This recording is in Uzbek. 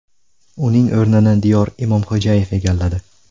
Uning o‘rnini Diyor Imomxo‘jayev egalladi.